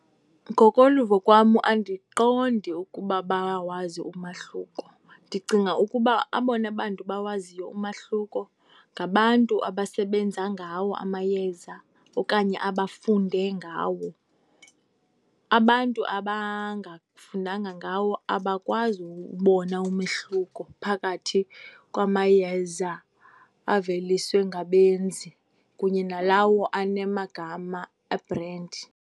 Ngokoluvo kwam andiqondi ukuba bayawazi umahluko. Ndicinga ukuba abona bantu bawaziyo umahluko ngabantu abasebenza ngawo amayeza okanye abafunde ngawo. Abantu abangafundanga ngawo abakwazi uwubona umehluko phakathi kwamayeza aveliswe ngabenzi kunye nalawo anamagama e-brand.